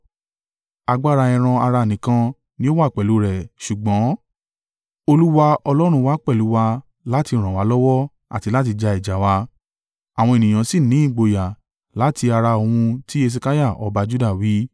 Agbára ẹran-ara nìkan ni ó wà pẹ̀lú rẹ̀ ṣùgbọ́n, Olúwa Ọlọ́run wa pẹ̀lú wa láti ràn wá lọ́wọ́ àti láti ja ìjà wa.” Àwọn ènìyàn sì ní ìgboyà láti ara ohun tí Hesekiah ọba Juda wí.